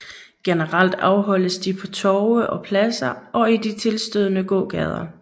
Generelt afholdes de på torve og pladser og i de tilstødende gågader